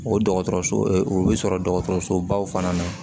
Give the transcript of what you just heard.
O dɔgɔtɔrɔso o bɛ sɔrɔ dɔgɔtɔrɔsobaw fana na